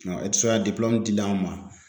e ti se ka dilen an ma